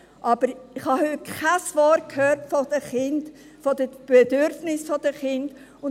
Aber ich habe kein Wort über Kinder, über die Bedürfnisse der Kinder gehört.